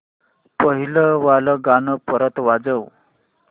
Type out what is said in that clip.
पहिलं वालं गाणं परत वाजव